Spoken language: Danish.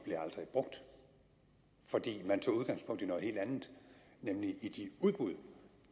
brugt fordi man tog udgangspunkt i noget helt andet nemlig i de udbud